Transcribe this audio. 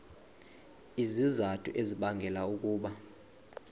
izizathu ezibangela ukuba